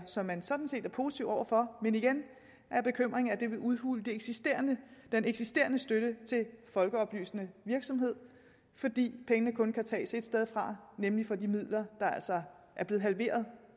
som man sådan set er positiv over for men igen er bekymringen at det vil udhule den eksisterende eksisterende støtte til folkeoplysende virksomhed fordi pengene kun kan tages ét sted fra nemlig fra de midler der altså er blevet halveret